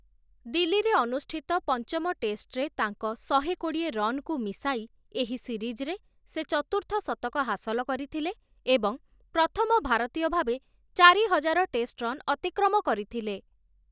ଦିଲ୍ଲୀରେ ଅନୁଷ୍ଠିତ ପଞ୍ଚମ ଟେଷ୍ଟରେ ତାଙ୍କ ଶହେ କୋଡ଼ିଏ ରନ୍‌କୁ ମିଶାଇ ଏହି ସିରିଜରେ ସେ ଚତୁର୍ଥ ଶତକ ହାସଲ କରିଥିଲେ ଏବଂ ପ୍ରଥମ ଭାରତୀୟ ଭାବେ ଚାରି ହଜାର ଟେଷ୍ଟ ରନ୍ ଅତିକ୍ରମ କରିଥିଲେ ।